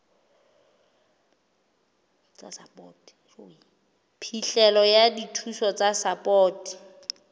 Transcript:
phihlelo ya dithuso tsa sapoto